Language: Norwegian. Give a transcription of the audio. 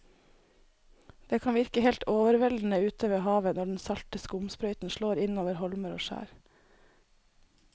Det kan virke helt overveldende ute ved havet når den salte skumsprøyten slår innover holmer og skjær.